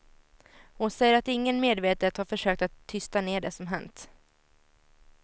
Hon säger att ingen medvetet har försökt att tysta ner det som hänt.